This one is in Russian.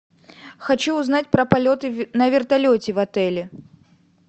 хочу узнать про полеты на вертолете в отеле